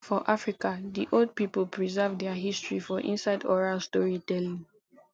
for africa di old pipo preserve their history for inside oral story telling